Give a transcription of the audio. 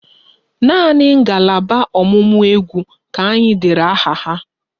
Naanị ngalaba ọ̀mụ̀mụ̀ égwú ka anyị dere aha ha